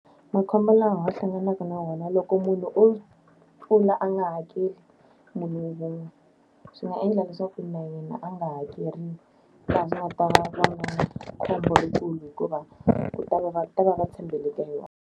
Makhombo lawa hlanganaka na wona loko munhu o tlula a nga hakeli munhu wun'we, swi nga endla leswaku na yena a nga hakeriwi. khombo ri kulu hikuva ku ta va ta va va tshembele ka yona.